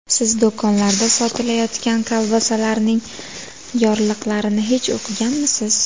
Siz do‘konlarda sotilayotgan kolbasalarning yorliqlarini hech o‘qiganmisiz?